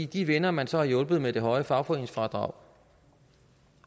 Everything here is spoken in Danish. de venner man så har hjulpet med det høje fagforeningsfradrag